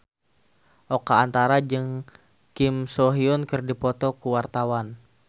Oka Antara jeung Kim So Hyun keur dipoto ku wartawan